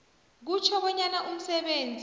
kutjho bonyana umsebenzi